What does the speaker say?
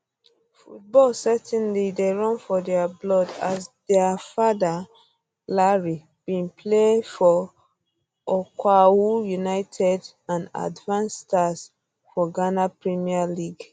football certainly um dey run for dia blood as dia dia father larry bin play for okwahu united and advance stars for ghana premier league